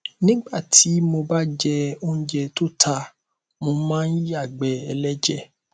nígbà tí mo bá jẹ óúnjẹ tó ta mo máa ń yàgbẹ ẹlẹjẹ